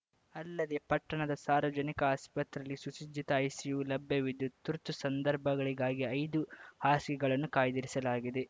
ಅಲ್ಲದೆ ಪಟ್ಟಣದ ಸಾರ್ವಜನಿಕ ಆಸ್ಪತ್ರೆಯಲ್ಲಿ ಸುಸಜ್ಜಿತ ಐಸಿಯು ಲಭ್ಯವಿದ್ದು ತುರ್ತು ಸಂದರ್ಭಗಳಿಗಾಗಿ ಐದು ಹಾಸಿಗೆಗಳನ್ನು ಕಾಯ್ದಿರಿಸಲಾಗಿದೆ